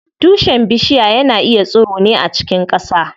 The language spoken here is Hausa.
Tushen bishiya yana tsiro ne a cikin ƙasa.